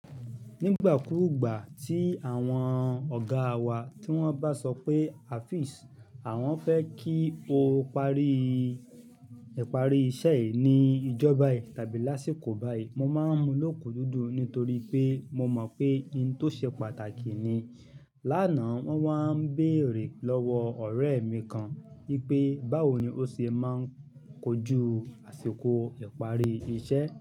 Nígbà kúrugbà tí àwọn ọ̀gáa wa tí wọ́n bá sọ pé Hafiz àwọn fẹ́ kí o parí ìparí iṣẹ́ yìí ní ìjọba yìí tàbí lásìkò báyìí, mo máa ń mu lókun dúdú nítorí pé mo mọ̀ pé ohun tó ṣe pàtàkì ni. Lánàá wọ́n wá ń bèrè lọ́wọ́ ọ̀rẹ́ mi kan wípé báwo ni ó ṣe máa ń kojú àsìkò ìparí iṣẹ́